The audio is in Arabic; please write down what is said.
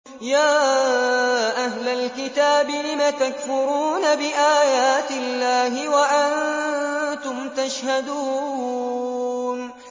يَا أَهْلَ الْكِتَابِ لِمَ تَكْفُرُونَ بِآيَاتِ اللَّهِ وَأَنتُمْ تَشْهَدُونَ